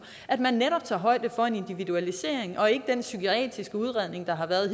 at man netop tager højde for en individualisering og ikke den psykiatriske udredning der har været